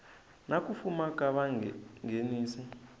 na ku fuma ka vanghenisi